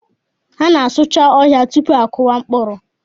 A na-asụcha ọhịa tupu a kụwa mkpụrụ.